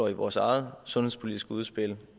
i vores eget sundhedspolitiske udspil